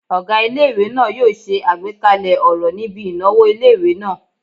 Ọgá ilé-ìwé náà yóò ṣe àgbékalẹ̀ ọ̀rọ̀ níbi ìnáwó ilé-ìwé náà